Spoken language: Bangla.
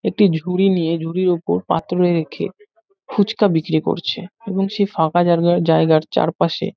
একটি ঝুড়ি নিয়ে ঝুড়ির উপর পাত্র রেখে ফুচকা বিক্রি করছে এবং এবং সেই ফাঁকা জাগা জায়গার চারপাশে--